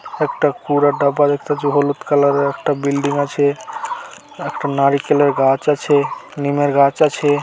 একটা পুরা ডাবা দেখতে যে হলুদ কালার -এর একটা বিল্ডিং আছে একটা নারিকেলের গাছ আছেনিমের গাছ আছে।